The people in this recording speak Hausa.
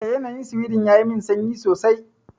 Eh, yanayin Sweden yayi min sanyi sosai.